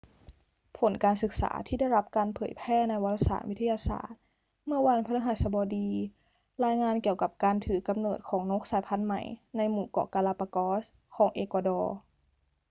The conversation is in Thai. ผลการศึกษาที่ได้รับการเผยแพร่ในวารสารวิทยาศาสตร์เมื่อวันพฤหัสบดีรายงานเกี่ยวกับการถือกำเนิดของนกสายพันธุ์ใหม่ในหมู่เกาะกาลาปากอสของเอกวาดอร์